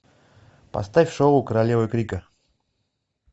поставь шоу королевы крика